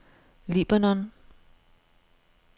Libanon